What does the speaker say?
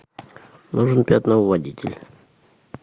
нужен пятновыводитель